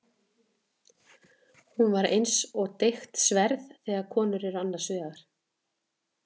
Hún er eins og deigt sverð þegar konur eru annars vegar.